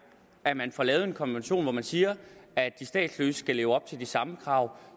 at man får lavet en konvention i hvilken man siger at de statsløse skal leve op til de samme krav